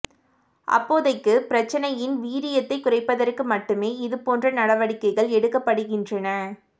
அப்போதைக்கு பிரச்சனையின் வீரியத்தைக் குறைப்பதற்கு மட்டுமே இது போன்ற நடவடிக்கைகள் எடுக்கப்படுகின்றன